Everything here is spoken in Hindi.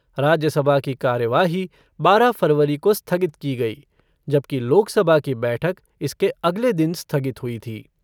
राज्यसभा की कार्यवाही बारह फ़रवरी को स्थगित की गई, जबकि लोकसभा की बैठक इसके अगले दिन स्थगित हुई थी।